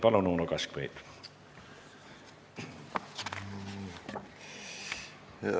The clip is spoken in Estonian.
Palun, Uno Kaskpeit!